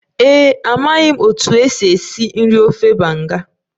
Ee e, amaghị m otú e si esi nri ofe banga